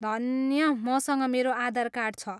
धन्य, मसँग मेरो आधार कार्ड छ।